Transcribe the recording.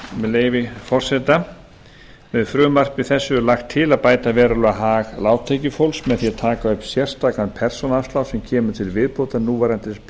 með leyfi forseta með frumvarpi þessu er lagt til að bæta verulega hag lágtekjufólks með því að taka upp sérstakan persónuafslátt sem kemur til viðbótar núverandi